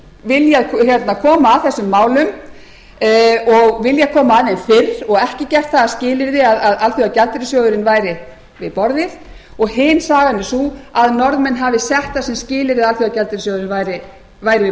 norðmenn hafi viljað koma að þessum málum og viljað koma að þeim fyrr og ekki gert það að skilyrði að alþjóðagjaldeyrissjóðurinn væri við borðið og hin sagan er sú að norðmenn hafi sett það sem skilyrði að alþjóðagjaldeyrissjóðurinn væri við